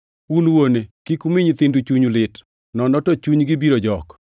Un wuone, kik umi nyithindu chuny lit, nono to chunygi biro jok.